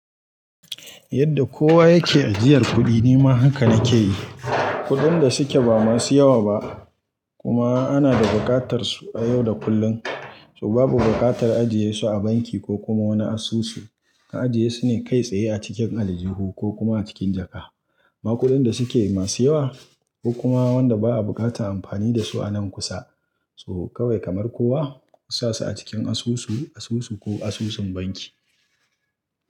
Yadda kowa yake ajiyar kuɗi, nima haka na ke yi. Kuɗin da suke ba masu yawa ba kuma ana da buƙatar su a yau da kullum, so babu buƙatar ajiye su a banki ko kuma wani asusu. Ka ajiye su ne kai tsaye a cikin aljiho ko kuma a cikin jaka. Amma kuɗin da suke masu yawa ko kuma wanda ba a buƙatar amfani da su a nan kusa, so kawai kamar kowa, ku sa su a cikin asusu, asusu ko asusun banki.